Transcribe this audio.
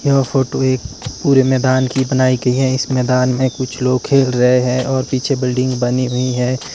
यह फोटो एक पूरे मैदान की बनाई गई है इस मैदान में कुछ लोग खेल रहे हैं और पीछे बिल्डिंग बनी हुई है।